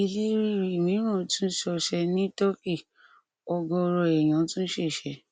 ilé ríri mìíràn tún ṣọṣẹ ní turkey ọgọọrọ èèyàn tún ṣèṣe